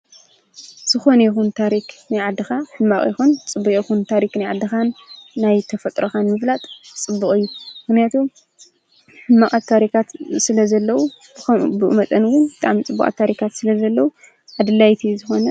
ዝኮነ ይኩን ታሪክ ናይ ዓድካ ሕማቅ ይኩን ፅቡቅ ታሪክ ናይ ዓድካን ናይ ተፈጥሮካን ምፍላጥ ፅቡቅ እዩ ። ምክንያቱ ሕማቃት ታሪካት ስለ ዘለው ከምኡ ብኡ መጠን እውን ብጣዕሚ ፅቡቃት ታሪካት ስለ ዘለው አድላይ ዝኮነ...